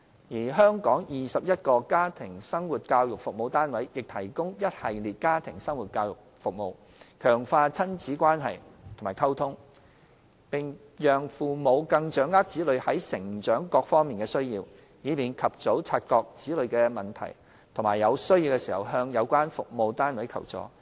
而全港21個家庭生活教育服務單位亦提供一系列家庭生活教育服務，強化親子關係和溝通，並讓父母更掌握子女在成長上各方面的需要，以便及早察覺子女的問題及在有需要時向有關服務單位求助。